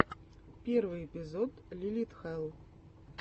первый эпизод лилит хэлл